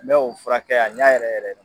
Mɛ o furakɛ a ɲɛ yɛrɛ yɛrɛ